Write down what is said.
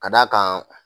Ka d'a kan